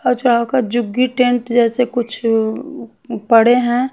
जुग्गी tent जैसे कुछ पड़े है।